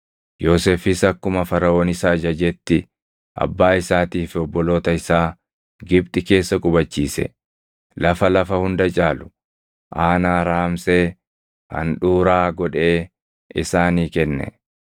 Yoosefis akkuma Faraʼoon isa ajajetti abbaa isaatii fi obboloota isaa Gibxi keessa qubachiise; lafa lafa hunda caalu, aanaa Raamsee handhuuraa godhee isaanii kenne.